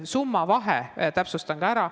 Summade vahe täpsustan ka ära.